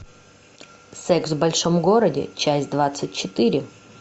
секс в большом городе часть двадцать четыре